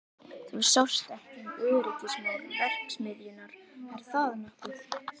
Þú sást ekki um öryggismál verksmiðjunnar, er það nokkuð?